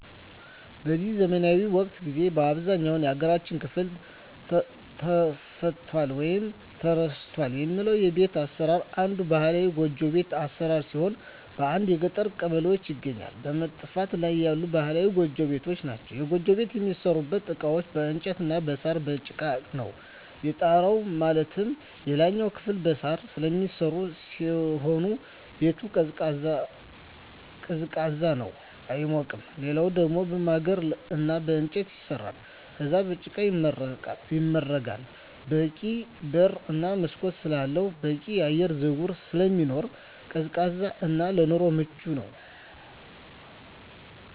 በዚህ ዘመናዊ ወቅት ጊዜ በአብዛኛው የሀገራችን ክፍል ጠፍቷል ወይም ተረስቷል የሚባለው የቤት አሰራር አንዱ ባህላዊ ጎጆ ቤት አሰራር ሲሆን በአንዳንድ የገጠር ቀበሌዎች ይገኛሉ በመጥፋት ላይ ያሉ ባህላዊ ጎጆ ቤቶች ናቸዉ። የጎጆ ቤት የሚሠሩበት እቃዎች በእንጨት እና በሳር፣ በጭቃ ነው። የጣራው ማለትም የላይኛው ክፍል በሳር ስለሚሰራ ሲሆን ቤቱ ቀዝቃዛ ነው አይሞቅም ሌላኛው ደሞ በማገር እና በእንጨት ይሰራል ከዛም በጭቃ ይመረጋል በቂ በር እና መስኮት ስላለው በቂ የአየር ዝውውር ስለሚኖር ቀዝቃዛ እና ለኑሮ አመቺ ነው።